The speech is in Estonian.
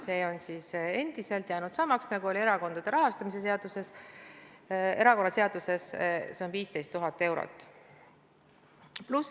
See on jäänud samaks, nagu oli erakonnaseaduses, see on 15 000 eurot.